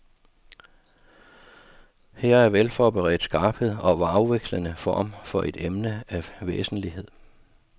Her er velforberedt skarphed og afvekslende form om et emne af væsentlighed.